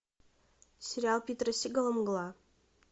сериал питера сигала мгла